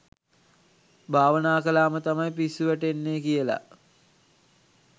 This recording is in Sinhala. භවනා කළා ම තමයි පිස්සු වැටෙන්නේ කියලා.